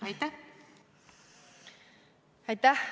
Aitäh!